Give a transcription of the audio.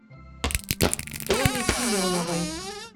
томе семеновой